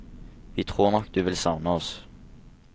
Vi tror nok du vil savne oss.